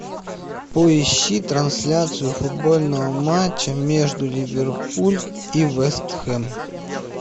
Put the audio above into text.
поищи трансляцию футбольного матча между ливерпуль и вест хэм